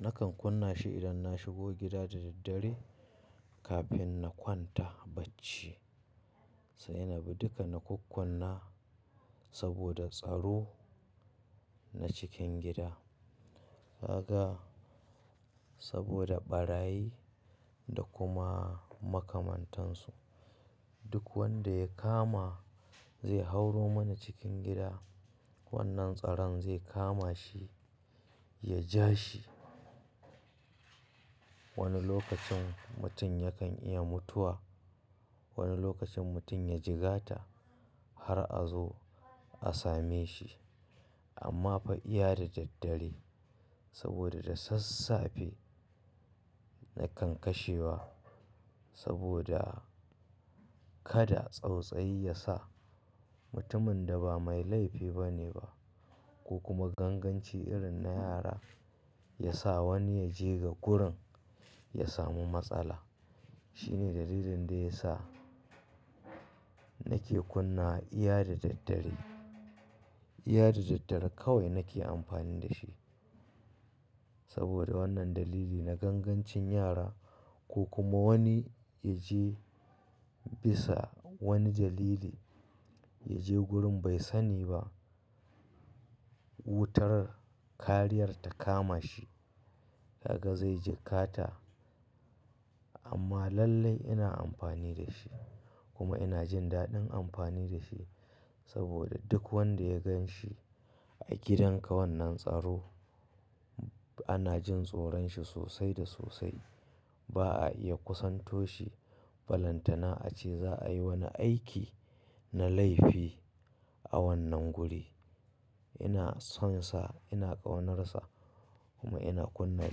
Nakan kunna shi idan na shigo gida da daddare kafin na kwanta bacci. Sai ina bi duka na kukkuna saboda tsaro na cikin gida. Gaga saboda ɓarayi da kuma makamantansu. Duk wanda ya kama zai hauoro mana cikin gida, wannan tsaron zai kama shi, ya ja shi. Wani lokacin mutum yakan iya mutuwa, wani lokacin mutum ya jigata har a zo a same shi. Amma fa iya da daddare saboda da sassafe nakan kashewa saboda kada tsautsayi ya sa mutumin da ba mai laifi bane ba ko kuma ganganci irin na yara ya sa wani ya je ga gurin ya samu matsala. Shine dalilin da ya sa nake kunna iya da daddare. Iya da daddare kawai nake amfani da shi saboda wannan dalili na gangancin yara ko kuma wani ya je bisa wani dalili, ya je gurin bai sani ba, wutar kariyar ta kama shi. Gaga zai ji kata. Amma lallai ina amfani da shi kuma ina jin daɗin amfani da shi saboda duk wanda ya gan shi a gidan ka wannan tsaro, ana jin tsoron shi sosai da sosai. Ba a iya kusanto shi ba. Lantana ace za a yi wani aiki na laifi a wannan guri. Ina sonsa, ina ƙaunarsa kuma ina kunna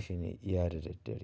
shine iya da daddare.